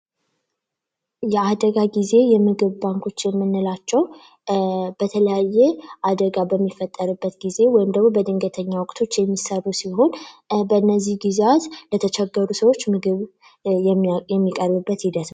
የአደጋ ጊዜ የምግብ ባንኮች የምንላቸው በተለያየ አደጋ በሚፈጠርበት ጊዜ ወይም ደግሞ በድንገተኛ ወቅቶች የሚሰሩ ሲሆን በነዚህ ጊዚያት ለተቸገሩ ሰዎች ምግብ የሚቀርብበት ሂደት ነው።